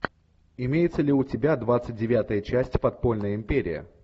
имеется ли у тебя двадцать девятая часть подпольная империя